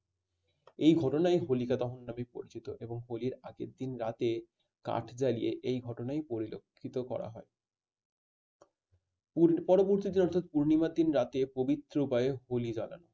এই ঘটনাই হোলিকা দহন নামে পরিচিত এবং হলি র আগের দিন রাতে কাঠ জ্বালিয়ে এই ঘটনায় পরিলক্ষিত করা হয়। ওর পরবর্তী দিন অর্থাৎ পূর্ণিমার দিন রাতে প্রবিত্র হয় হোলি দারা